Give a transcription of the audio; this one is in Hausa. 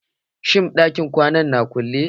Shin ɗakin kwanan na kulle?